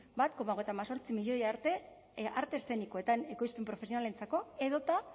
bat koma hogeita hemezortzi milioi arte eszenikoetan edo profesionalentzako edota